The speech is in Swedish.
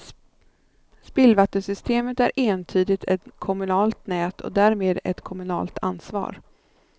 Spillvattensystemet är entydigt ett kommunalt nät och därmed ett kommunalt ansvar.